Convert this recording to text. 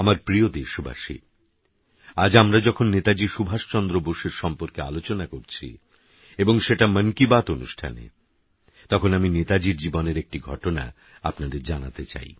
আমার প্রিয় দেশবাসী আজ আমরা যখন নেতাজী সুভাষচন্দ্র বোসের সম্পর্কে আলোচনা করছি এবং সেটা মন কি বাত অনুষ্ঠানে তখন আমি নেতাজীর জীবনের একটি ঘটনা আপনাদের জানতে চাই